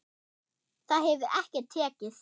Það hefur ekki tekist.